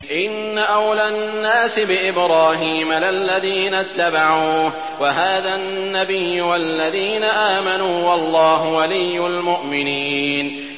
إِنَّ أَوْلَى النَّاسِ بِإِبْرَاهِيمَ لَلَّذِينَ اتَّبَعُوهُ وَهَٰذَا النَّبِيُّ وَالَّذِينَ آمَنُوا ۗ وَاللَّهُ وَلِيُّ الْمُؤْمِنِينَ